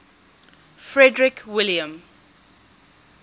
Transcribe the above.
frederick william